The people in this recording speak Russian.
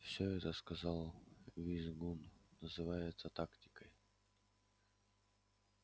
все это сказал визгун называется тактикой